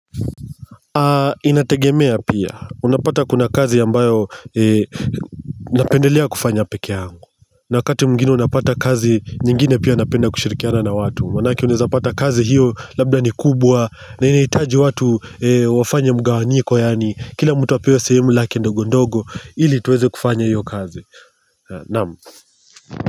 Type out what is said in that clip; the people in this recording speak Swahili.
Inategemea pia unapata kuna kazi ambayo napendelea kufanya peke yangu na wakati mwingine unapata kazi nyingine pia napenda kushirikiana na watu. Maanake unapata kazi hiyo labda ni kubwa na inahitaji watu wafanye mgawanyiko yaani. Kila mtu apewe sehemu lake ndogo ndogo ili tuweze kufanya hiyo kazi. Naam.